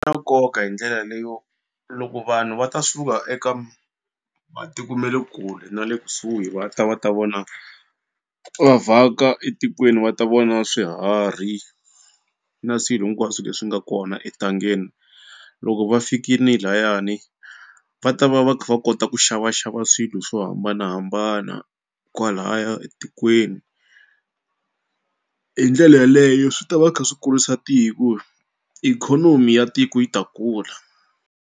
nkoka hi ndlela leyo loko vanhu va ta suka eka matiko ma le kule na le kusuhi va ta va ta vona va vhaka etikweni va ta vona swiharhi na swilo hinkwaswo leswi nga kona entangeni loko va fikini layani va ta va va kha va kota ku xavaxava swilo swo hambanahambana kwalaya etikweni hi ndlela yaleyo swi ta va kha swi kulisa tiku ikhonomi ya tiku yi ta kula.